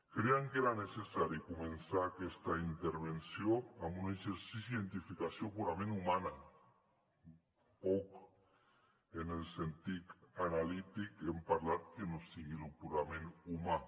crèiem que era necessari començar aquesta intervenció amb un exercici d’identificació purament humana poc en el sentit analític hem parlat que no sigui el purament humà